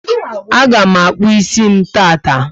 A ga mụ akpu ísì m taata